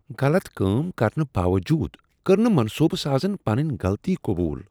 غلط کٲم کرنہٕ باوجود کٔر نہٕ منصوبہٕ سازن پنٕنۍ غلطی قبول۔